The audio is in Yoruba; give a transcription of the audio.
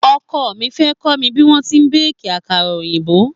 Oko mi fẹ́ kọ́ mi bí wọ́n ti n béèkì àkàrà òyìnbó.